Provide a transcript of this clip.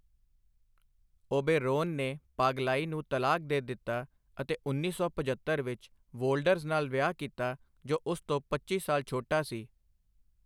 Oberon ਨੇ ਪਾਗਲਾਈ ਨੂੰ ਤਲਾਕ ਦੇ ਦਿੱਤਾ ਅਤੇ ਉੱਨੀ ਸੌ ਪਝੱਤਰ ਵਿੱਚ ਵੋਲਡਰਜ਼ ਨਾਲ ਵਿਆਹ ਕੀਤਾ, ਜੋ ਉਸ ਤੋਂ ਪੱਚੀ ਸਾਲ ਛੋਟਾ ਸੀ।